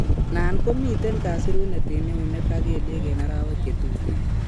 Nan komiten kasirunet en eunek ak kelyek en arawek chetuten